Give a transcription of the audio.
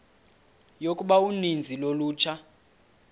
yokuba uninzi lolutsha